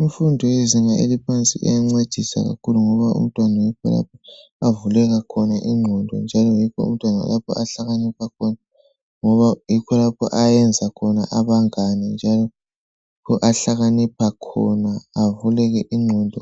Imfundo yezinga eliphansi iyancedisa kakhulu ngoba umntwana yikho lapho avuleka khona ingqondo ,njalo yikho lapho umntwana ahlakanipha khona. Ngoba yikho lapho ayenza khona abangane, njalo yikho lapho ahlakanipha khona, avuleke ingqondo.